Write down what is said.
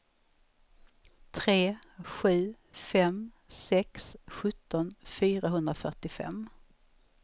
tre sju fem sex sjutton fyrahundrafyrtiofem